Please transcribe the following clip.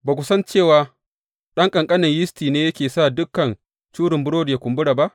Ba ku san cewa ɗan ƙanƙanin yisti ne yakan sa dukan curin burodi yă kumbura ba?